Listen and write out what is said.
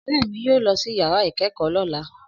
Ọ̀rẹ́ mi yóò lọ sí yàrá ìkẹ́kọ̀ọ́ lọ́la